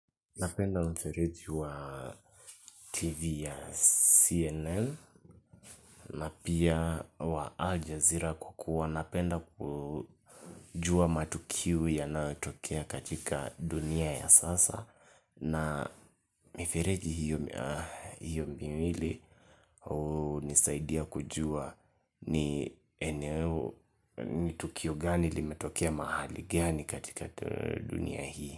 Napenda mfereji wa TV ya CNN napia wa Al Jazeera kwa kua napenda kujua matukiu ya yonatokea katika dunia ya sasa na mifereji hiyo mbiwili hunisaidia kujua ni eneo ni tukio gani li metokea mahali gani katika dunia hii.